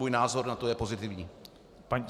Můj názor na to je pozitivní.